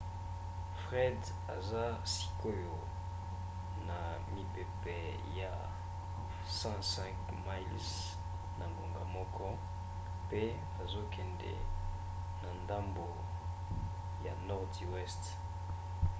fred eza sikoyo na mipepe ya 105 miles na ngonga moko 165 km/h pe ezokende na ndambo ya nordi weste